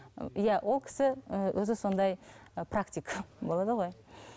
иә ол кісі ііі өзі сондай практик болады ғой